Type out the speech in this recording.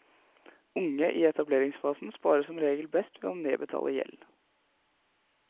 Unge i etableringsfasen sparer som regel best ved å nedbetale gjeld.